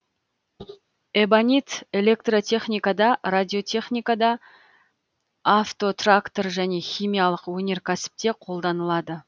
эбонит электротехникада радиотехникада автотрактор және химиялық өнеркәсіпте қолданылады